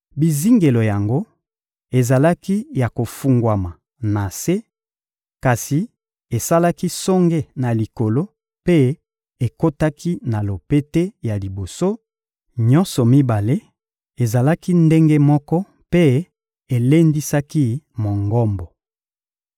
Bizingelo yango ezalaki ya kofungwama na se, kasi esalaki songe na likolo mpe ekotaki na lopete ya liboso: nyonso mibale ezalaki ndenge moko mpe elendisaki Mongombo.